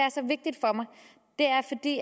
det